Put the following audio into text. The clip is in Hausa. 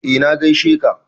Eh na gaishe ka